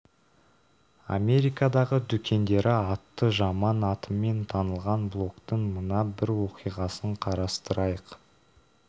америкадағы дүкендері атты жаман атымен танылған блогтың мына бір оқиғасын қарастырайық